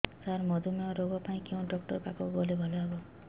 ସାର ମଧୁମେହ ରୋଗ ପାଇଁ କେଉଁ ଡକ୍ଟର ପାଖକୁ ଗଲେ ଭଲ ହେବ